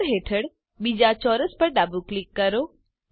layers હેઠળ બીજા ચોરસ પર ડાબું ક્લિક કરો